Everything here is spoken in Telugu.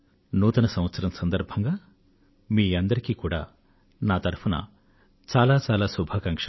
నూతన సంవత్సరం సందర్భంగా మీ అందరికీ కూడా నా తరఫున చాలా అభినందనలు